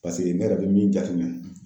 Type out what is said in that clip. Paseke ne yɛrɛ bɛ min jate minɛ.